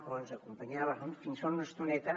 o ens acompanyava fins fa una estoneta